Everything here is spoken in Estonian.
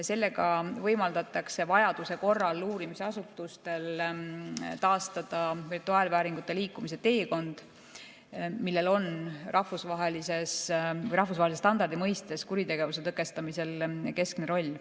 Sellega võimaldatakse vajaduse korral uurimisasutustel taastada virtuaalvääringute liikumise teekond, millel on rahvusvahelise standardi mõistes kuritegevuse tõkestamisel keskne roll.